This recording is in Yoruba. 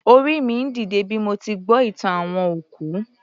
Orí mi ń dìde bí mo ti gbọ́ ìtàn àwọn òkú